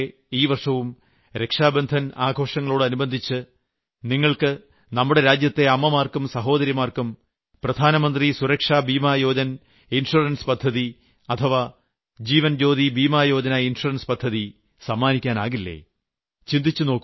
കഴിഞ്ഞ വർഷത്തിലേതുപോലെ ഈ വർഷവും രക്ഷാബന്ധൻ ആഘോഷങ്ങളോട് അനുബന്ധിച്ച് നിങ്ങൾക്ക് നമ്മുടെ രാജ്യത്തെ അമ്മമാർക്കും സഹോദരിമാർക്കും പ്രധാനമന്ത്രി സുരക്ഷാ ബീമാ യോജന ഇൻഷ്വറൻസ് പദ്ധതി അഥവാ ജീവൻ ജ്യോതി ബീമായോജന ഇൻഷ്വറൻസ് പദ്ധതി സമ്മാനിക്കാനാകില്ലേ